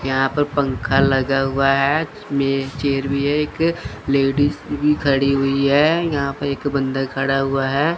यहां पर पंखा लगा हुआ है इसमें चेयर भी है एक लेडिस भी खड़ी हुई है यहां पे एक बंदा खड़ा हुआ है।